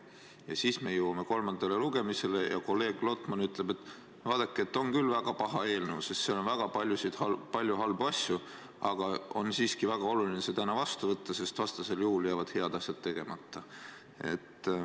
Ja siis me jõuame kolmandale lugemisele ja kolleeg Lotman ütleb, et vaadake, see on küll väga paha eelnõu, sest selles on väga palju halbu asju, aga siiski on väga oluline see täna vastu võtta, sest vastasel juhul jäävad head asjad tegemata.